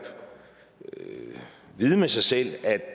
vide med sig selv at